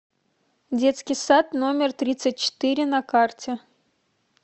детский сад номер тридцать четыре на карте